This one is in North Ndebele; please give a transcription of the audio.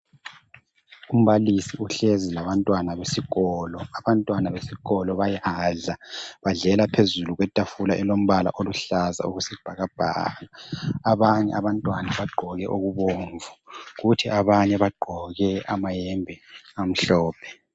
Umbalisi uhlezi labantwana besikolo abantwana besikolo bayadla badlela phezulu kwetafula elilombala oluhlaza okwesibhakabhaka abanye abantwana bagqoke okubomvu kuthi abanye bagqoke amayembe amhlophe.